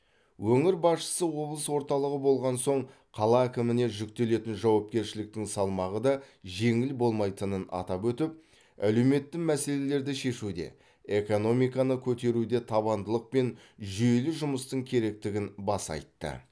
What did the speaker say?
өңір басшысы облыс орталығы болған соң қала әкіміне жүктелетін жауапкершіліктің салмағы да жеңіл болмайтынын атап өтіп әлеуметті мәселелерді шешуде экономиканы көтеруде табандылық пен жүйелі жұмыстың керектігін баса айтты